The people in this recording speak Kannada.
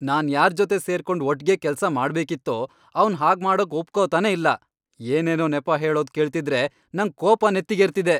ನಾನ್ ಯಾರ್ಜೊತೆ ಸೇರ್ಕೊಂಡ್ ಒಟ್ಗೆ ಕೆಲ್ಸ ಮಾಡ್ಬೇಕಿತ್ತೋ ಅವ್ನ್ ಹಾಗ್ಮಾಡೋಕ್ ಒಪ್ಕೊತಾನೇ ಇಲ್ಲ, ಏನೇನೋ ನೆಪ ಹೇಳೋದ್ ಕೇಳ್ತಿದ್ರೆ ನಂಗ್ ಕೋಪ ನೆತ್ತಿಗೇರ್ತಿದೆ.